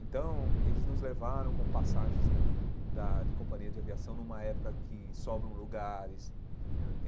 Então, eles nos levaram com passagens da de companhia de aviação numa época que sobram lugares.